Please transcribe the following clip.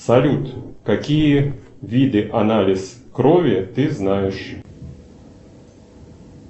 салют какие виды анализ крови ты знаешь